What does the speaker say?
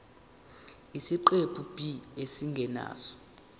isiqephu b isingeniso